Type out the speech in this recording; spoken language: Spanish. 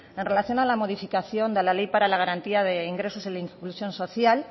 en relación a la modificación de la ley para la garantía de ingresos e inclusión social